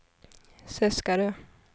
Seskarö